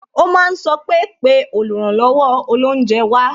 O máa sọ pé "pè oluranlowo olounje wá"